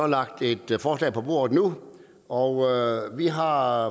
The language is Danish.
lagt et forslag på bordet og vi har